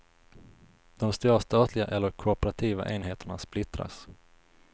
De stora statliga eller kooperativa enheterna splittras.